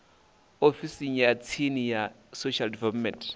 ofisini ya tsini ya social development